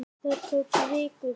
Það tók viku.